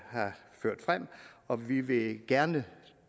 har ført frem og vi vil gerne